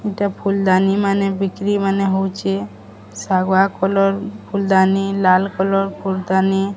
ଇଟା ଫୁଲ ଦାନୀ ମାନେ ବିକ୍ରି ମାନେ ହୋଉଚେ ସାଗୁଆ କଲର ଫୁଲ ଦାନୀ ଲାଲ କଲର ଫୁଲ ଦାନୀ।